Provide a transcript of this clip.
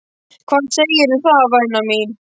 Hvað segirðu um það, væna mín?